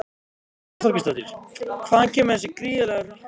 Brynja Þorgeirsdóttir: Hvaðan kemur þessi gríðarlegi hagnaður?